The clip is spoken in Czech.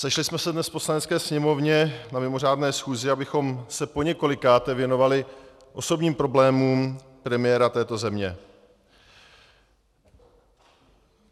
Sešli jsme se dnes v Poslanecké sněmovně na mimořádné schůzi, abychom se poněkolikáté věnovali osobním problémům premiéra této země.